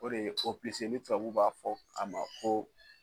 O de ye ni tubabuw b'a fɔ a ma ko